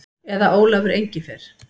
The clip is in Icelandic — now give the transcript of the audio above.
Eða Ólafur Engifer.